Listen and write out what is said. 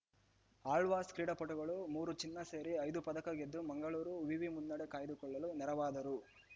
ಆಳ್ವಾಸ್‌ ಕ್ರೀಡಾಪಟುಗಳು ಮೂರು ಚಿನ್ನ ಸೇರಿ ಐದು ಪದಕ ಗೆದ್ದು ಮಂಗಳೂರು ವಿವಿ ಮುನ್ನಡೆ ಕಾಯ್ದುಕೊಳ್ಳಲು ನೆರವಾದರು